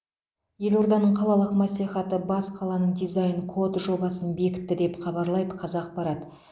елорданың қалалық мәслихаты бас қаланың дизайн код жобасын бекітті деп хабарлайды қазақпарат